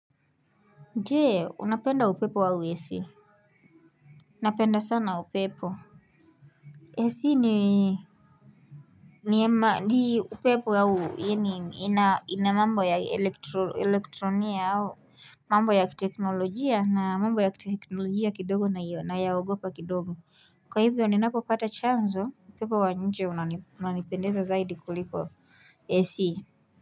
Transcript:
Je unapenda upepo au ac napenda sana upepo ac nima ni upepo au eni ina ina mambo ya elektro elektronia au mambo ya teknolojia na mambo ya teknolojia kidogo naiyo nayaogopa kidogo kwa hivyo ni napopata chanzo upepo waenje una unanipendeza zaidi kuliko ac.